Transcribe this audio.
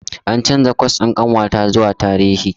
An canza kwas ɗin ƙanwata zuwa Tarihi.